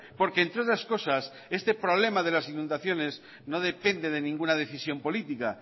porque entre otras cosas este problema de las inundaciones no depende de ninguna decisión política